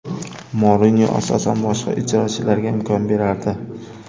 Mourinyo asosan boshqa ijrochilarga imkon berardi.